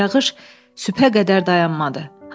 Yağış sübhə qədər dayanmadı.